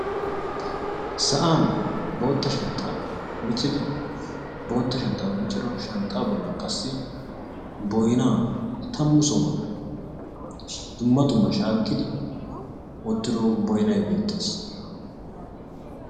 Sa'an bootta shanxxa miccidi; bootta shanxxaa miccido shanxxaa bollan qassi boynnaa tammu sohuwan qassi dumma dumma shakkidi wottido boynnay beettees.